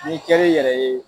Ni kɛri yɛrɛ ye